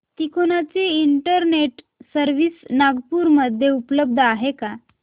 तिकोना ची internet service Nagpur मध्ये उपलब्ध आहे का